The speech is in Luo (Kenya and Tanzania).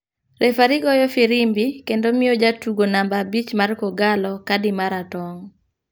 refari goyo firimbi kendo miyo jatugo namba abich mar kogallo kadi mara tong.